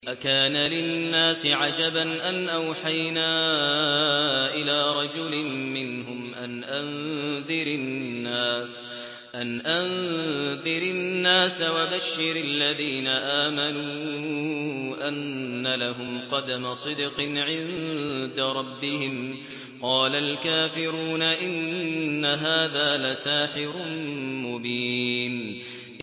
أَكَانَ لِلنَّاسِ عَجَبًا أَنْ أَوْحَيْنَا إِلَىٰ رَجُلٍ مِّنْهُمْ أَنْ أَنذِرِ النَّاسَ وَبَشِّرِ الَّذِينَ آمَنُوا أَنَّ لَهُمْ قَدَمَ صِدْقٍ عِندَ رَبِّهِمْ ۗ قَالَ الْكَافِرُونَ إِنَّ هَٰذَا لَسَاحِرٌ مُّبِينٌ